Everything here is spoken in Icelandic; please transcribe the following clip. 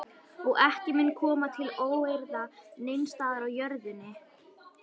Og ekki mun koma til óeirða neins staðar á jörðinni.